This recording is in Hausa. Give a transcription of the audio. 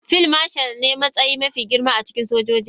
Field Marshal ne matsayi mafi girma a cikin sojojin Najeriya.